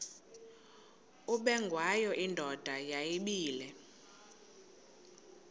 ubengwayo indoda yayibile